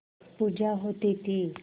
पूजा होती थी